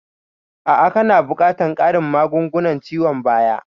A'a kana buƙatan ƙarin magungunan ciwon bayan